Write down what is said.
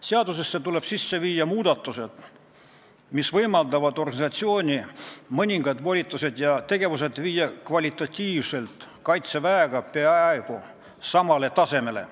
Seadusesse tuleb sisse viia muudatused, mis võimaldavad organisatsiooni mõningad volitused ja tegevused viia Kaitseväe võimalustega kvalitatiivselt peaaegu samale tasemele.